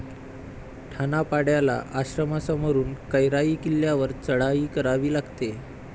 ठाणापाड्याला आश्रमासमोरून कैराई किल्यावर चढाई करावी लागते.